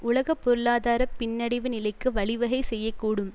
உலக பொருளாதார பின்னடைவு நிலைக்கு வழிவகை செய்ய கூடும்